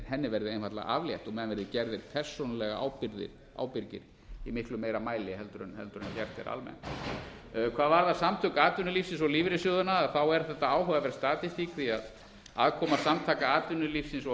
henni verði einfaldlega aflétt og menn verði gerðir persónulega ábyrgir í miklu meira mæli en gert er almennt hvað varðar samtök atvinnulífsins og lífeyrissjóðina er þetta áhugaverð statistík því að aðkoma samtaka atvinnulífsins og